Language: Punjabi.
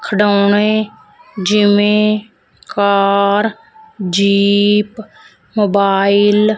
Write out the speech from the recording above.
ਖਿਡੋਣੇ ਜਿਵੇਂ ਕਾਰ ਜੀਪ ਮੋਬਾਈਲ ।